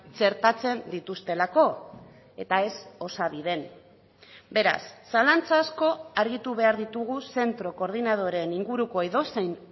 txertatzen dituztelako eta ez osabiden beraz zalantza asko argitu behar ditugu zentro koordinadoren inguruko edozein